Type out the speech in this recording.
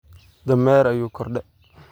Dameer ayu korde.